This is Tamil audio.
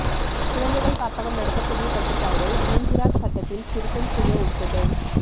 குழந்தைகள் காப்பகம் நடத்த புதிய கட்டுப்பாடு இளஞ்சிறார் சட்டத்தில் திருத்தம் செய்ய ஒப்புதல்